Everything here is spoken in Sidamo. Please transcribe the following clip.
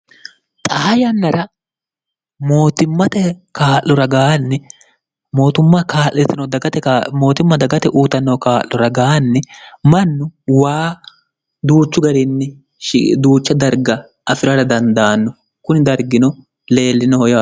xaha yannara oommte k'luraganni mootumma kaa'litino mootimma dagate uutannoho kaa'lu ragaanni mannu waa duuchu garinni duucha darga afi'rara dandaanno kuni dargino leellinoho ya